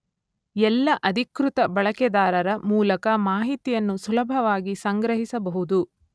ಎಲ್ಲ ಅಧಿಕೃತ ಬಳಕೆದಾರರ ಮೂಲಕ ಮಾಹಿತಿಯನ್ನು ಸುಲಭವಾಗಿ ಸಂಗ್ರಹಿಸಬಹುದು.